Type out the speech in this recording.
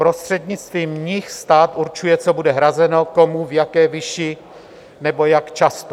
Prostřednictvím nich stát určuje, co bude hrazeno, komu, v jaké výši nebo jak často.